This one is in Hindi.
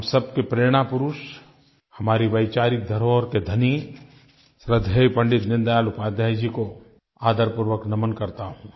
हम सब के प्रेरणा पुरुष हमारी वैचारिक धरोहर के धनी श्रद्धेय पंडित दीनदयाल उपाध्याय जी को आदरपूर्वक नमन करता हूँ